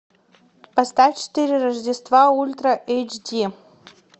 поставь четыре рождества ультра эйч ди